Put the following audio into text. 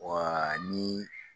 Ɔ ni